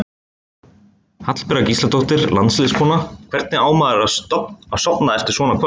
Hallbera Gísladóttir landsliðskona: Hvernig á maður að sofna eftir svona kvöld?